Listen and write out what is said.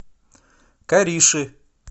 кариши